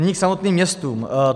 Nyní k samotným městům.